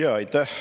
Aitäh!